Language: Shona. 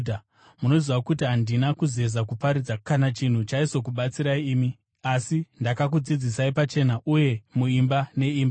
Munozviziva kuti handina kuzeza kuparidza kana chinhu chaizokubatsirai imi, asi ndakakudzidzisai pachena uye muimba neimba.